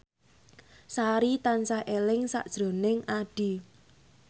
Sari tansah eling sakjroning Addie